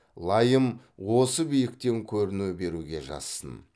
лайым осы биіктен көріну беруге жазсын